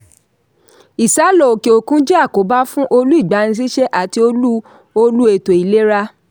ìsálọ̀ òke-òkun jẹ́ àkóbá fún olú ìgbaniṣíṣẹ́ ati olú olú ètò ìlera.